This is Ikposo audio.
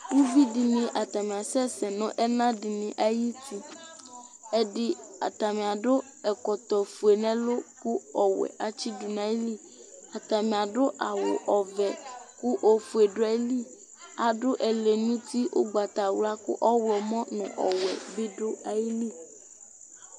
ʋvidini atani asɛsɛ nʋ ɛna dini ayiti, ɛdi atami adʋ ɛkɔtɔ ƒʋɛbnʋ ɛlʋ kʋ ɔwɛ atsidʋ nʋ ayili, atami adʋ awʋ ɔvɛ kʋ ɔƒʋɛ dʋaili, adʋ ɛli nʋ ʋti ɔgbatawla kʋ ɔwlɔmɔ nʋ ɔwɛ bi dʋaili